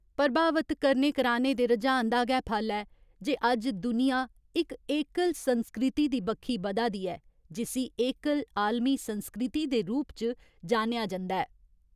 प्रभावत करने कराने दे रुझान दा गै फल ऐ जे अज्ज दुनिया इक एकल संस्कृति दी बक्खी बधा दी ऐ जिस्सी एकल आलमी संस्कृति दे रूप च जानेआ जंदा ऐ।